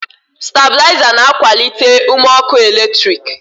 stabilizers na-akwalite ume ọkụ eletrik